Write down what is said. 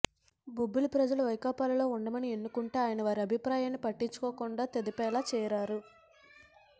బొబ్బిలి ప్రజలు వైకాపాలో ఉండమని ఎన్నుకొంటే ఆయన వారి అభిప్రాయాన్ని పట్టించుకోకుండా తెదేపాలో చేరారు